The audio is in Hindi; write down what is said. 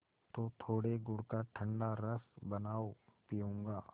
तो थोड़े गुड़ का ठंडा रस बनाओ पीऊँगा